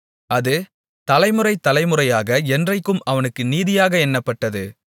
அது தலைமுறை தலைமுறையாக என்றைக்கும் அவனுக்கு நீதியாக எண்ணப்பட்டது